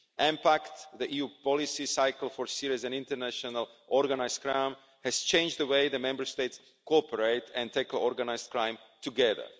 EMPACT, the EU policy cycle for serious and international organised crime, has changed the way the Member States cooperate and tackle organised crime together.